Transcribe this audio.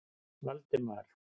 Valdemar